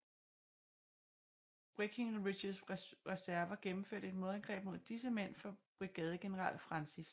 Breckinridges reserver gennemførte et modangreb mod disse mænd fra brigadegeneral Francis C